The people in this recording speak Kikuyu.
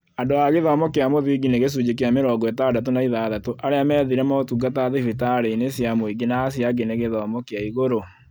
Andũ a gĩthomo kĩa mũthingi nĩ gĩcunjĩ kĩa mĩrongo ĩtandatũ na ithathatũ arĩa methire motungata thibitarĩ inĩ cia mũingĩ na acĩo angĩ nĩ a gĩthomo kĩa igũrũ